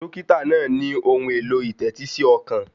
Dọ́kítà náà ní ohun èlò ìtẹ́tí sí ọkàn.